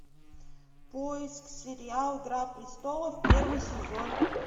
поиск сериал игра престолов первый сезон